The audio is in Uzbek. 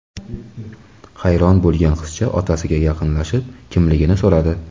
Hayron bo‘lgan qizcha otasiga yaqinlashib, kimligini so‘radi.